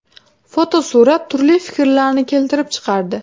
Fotosurat turli fikrlarni keltirib chiqardi.